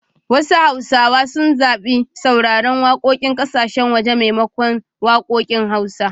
Wasu hausawa sun zabi sauraren wakokin kasashen waje maimakon wakokin hausa.